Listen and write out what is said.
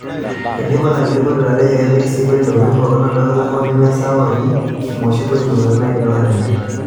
Eidipa olakili Korir ejo kepiki sii kodi intokitin pookin oldoka, hoo nemesidai amu meoshi kodi intokitin naidipaki atimir.